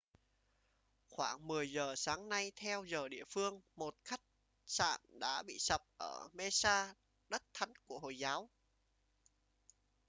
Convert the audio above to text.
khoảng 10 giờ sáng nay theo giờ địa phương một khách sạn đã bị sập ở mecca đất thánh của hồi giáo